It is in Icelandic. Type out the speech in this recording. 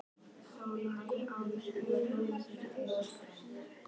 Váli, ég kom með þrjátíu og eina húfur!